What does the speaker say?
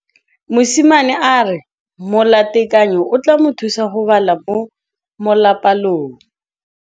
Mosimane a re molatekanyô o tla mo thusa go bala mo molapalong.